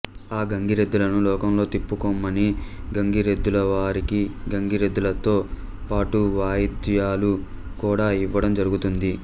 ఆ గంగిరెద్దులను లోకంలో తిప్పుకొమ్మని గంగిరెద్దుల వారికి గంగిరెద్దులతో పాటు వాయిద్యాలు కూడా యివ్వడం జరుగుతుంది